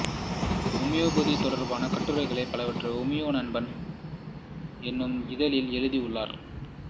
homeopathy தொடர்பான கட்டுரைகள் பலவற்றை ஹோமியோ நண்பன் என்னும் இதழில் எழுதியுள்ளார்